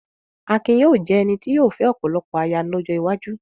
Akin yóò jẹ́ ẹni tí yóò fẹ́ ọ̀pọ̀lọpọ̀ aya lọ́jọ́ iwájú.